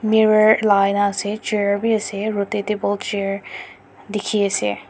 mirror lagai na ase chair b ase table chair dikhi ase.